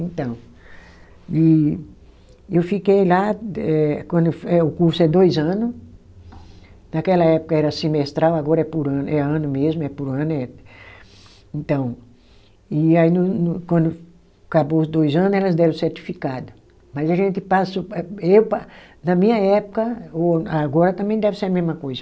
Então e, e eu fiquei lá, eh quando eu fu, eh o curso é dois ano, naquela época era semestral, agora é por ano, é ano mesmo, é por ano eh, então, e aí no no, quando acabou os dois ano elas deram o certificado, mas a gente passou, eh eu pa, na minha época, o agora também deve ser a mesma coisa,